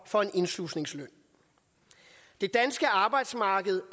for en indslusningsløn det danske arbejdsmarked